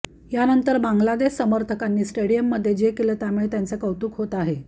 यानंतर बांगलादेश समर्थकांनी स्टेडियममध्ये जे केलं त्यामुळे त्यांचं कौतुक होत आहे